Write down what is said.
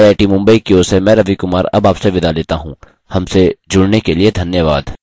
यह स्क्रिप्ट देवेन्द्र कैरवान द्वारा अनुवादित है आई आई टी मुंबई की ओर से मैं रवि कुमार अब आपसे विदा लेता हूँ हमसे जुड़ने के लिए धन्यवाद